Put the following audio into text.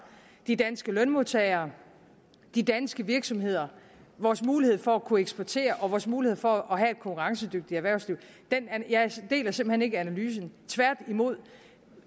de danske lønmodtagere de danske virksomheder vores mulighed for at kunne eksportere og vores mulighed for at have et konkurrencedygtigt erhvervsliv hjem jeg deler simpelt hen ikke analysen tværtimod